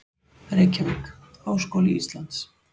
Reykjavík: Háskóli Íslands.